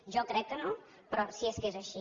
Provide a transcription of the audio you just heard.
jo crec que no però si és que és així